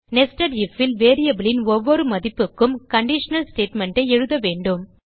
nested ifல் variableன் ஒவ்வொரு மதிப்புக்கும் கண்டிஷனல் ஸ்டேட்மெண்ட் ஐ எழுத வேண்டும்